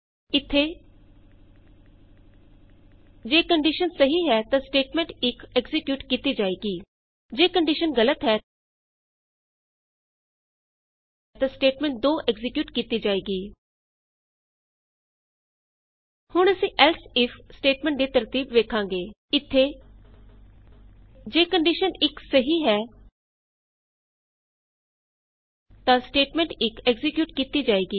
ਇਥੇ ਜੇ ਕੰਡੀਸ਼ਨ ਸਹੀ ਹੈ ਤਾਂ ਸਟੇਟਮੈਂਟ 1 ਐਕਜ਼ੀਕਿਯੂਟ ਕੀਤੀ ਜਾਏਗੀ ਜੇ ਕੰਡੀਸ਼ਨ ਗਲਤ ਹੈ ਤਾਂ ਸਟੇਟਮੈਂਟ 2 ਐਕਜ਼ੀਕਿਯੂਟ ਕੀਤੀ ਜਾਏਗੀ ਹੁਣ ਅਸੀਂ ਏਲਸ ਇਫ ਸਟੇਟਮੈਂਟ ਦੀ ਤਰਤੀਬ ਵੇਖਾਂਗੇ ਇਥੇ ਜੇ ਕੰਡੀਸ਼ਨ 1 ਸਹੀ ਹੈ ਤਾਂ ਸਟੇਟਮੈਂਟ 1 ਐਕਜ਼ੀਕਿਯੂਟ ਕੀਤੀ ਜਾਏਗੀ